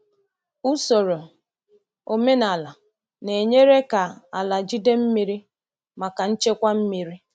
Usoro omenala na-enyere ka ala jide mmiri maka nchekwa mmiri.